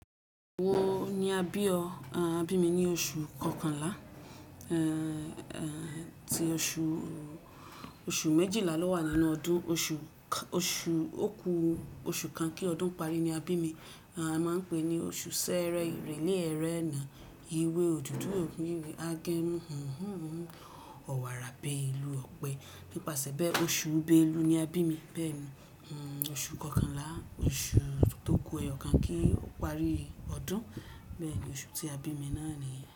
Wo ni a bí ọ? A bí mi ní oṣù kọkànlá, tí oṣù méjìlá ló wà nínú ọdún. Oṣù ókú oṣù kan kí ọdún pari ni a bí mi. A máa ń pè é ní oṣù Sẹ́rẹ́, ìrèlé ẹrẹ̀na, ìwé òdùdu ogbinwe, agẹ́mo, ọ̀wàrà bẹ́ ìlú Ọ̀pẹ. Nípasẹ̀ be oṣù Belu ni a bí mi. Bẹ́ẹ̀ni oṣù kọkànlá oṣù tó ku ẹyọ kan kí ó parí ọdún. Bẹ́ẹ̀ni oṣù tí a bí mi náà nìyẹn.